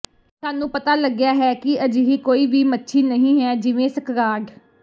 ਸਾਨੂੰ ਪਤਾ ਲੱਗਿਆ ਹੈ ਕਿ ਅਜਿਹੀ ਕੋਈ ਵੀ ਮੱਛੀ ਨਹੀਂ ਹੈ ਜਿਵੇਂ ਸਕਰਾਡ